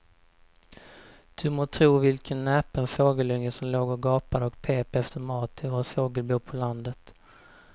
Du må tro vilken näpen fågelunge som låg och gapade och pep efter mat i vårt fågelbo på landet.